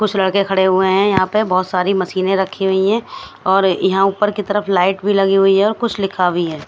कुछ लड़के खड़े हुए हैं यहां पे बहुत सारी मशीनें रखी हुई हैं और यहां ऊपर की तरफ लाइट भी लगी हुई हैऔर कुछ लिखा भी है।